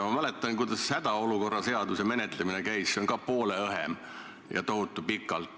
Ma mäletan, kuidas hädaolukorra seaduse menetlemine käis – see on poole õhem – ka tohutu pikalt.